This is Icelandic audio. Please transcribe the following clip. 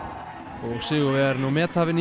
og sigurvegarinn og methafinn í